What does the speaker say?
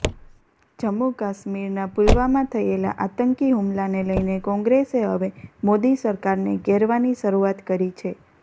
જમ્મુ કાશ્મીરના પુલવામા થયેલા આતંકી હુમલાને લઈને કોંગ્રેસે હવે મોદી સરકારને ઘેરવાની શરૂઆત કરી છે